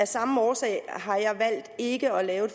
samme årsag har jeg valgt ikke at lave